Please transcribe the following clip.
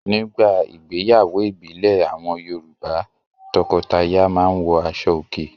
Nígbà ìgbéyàwó ìbílẹ̀ àwọn Yorùbá; tọkọtaya máa ń wọ aṣọòkè.